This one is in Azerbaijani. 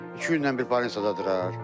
İki gündən bir baldə durar.